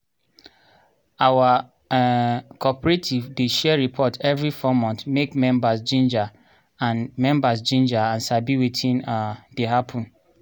our um cooperative dey share report evri 4 months make members ginger and members ginger and sabi wetin um dey happen.